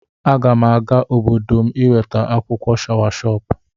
Aga m aga obodo m iweta akwụkwọ shawashọpụ.